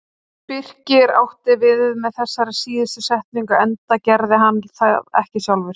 Birkir átti við með þessari síðustu setningu enda gerði hann það ekki sjálfur.